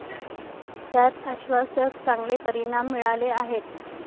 त्यात आश्वासक, चांगले परिणाम मिळाले आहेत.